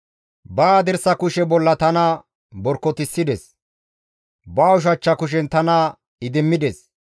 Ba hadirsa kushe bolla tana borkotissides; ba ushachcha kushen tana idimmides.